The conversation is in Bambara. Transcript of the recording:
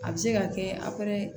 A bɛ se ka kɛ a